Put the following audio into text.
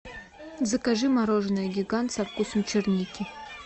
закажи мороженое гигант со вкусом черники